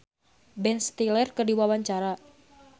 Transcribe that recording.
Andy rif olohok ningali Ben Stiller keur diwawancara